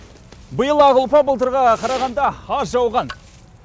биыл ақ ұлпа былтырғыға қарағанда аз жауған